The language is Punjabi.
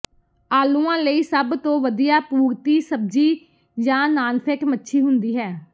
ਆਲੂਆਂ ਲਈ ਸਭ ਤੋਂ ਵਧੀਆ ਪੂਰਤੀ ਸਬਜ਼ੀ ਜਾਂ ਨਾਨਫੇਟ ਮੱਛੀ ਹੁੰਦੀ ਹੈ